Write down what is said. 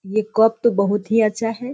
ये कोक तो बहुत ही अच्छा है।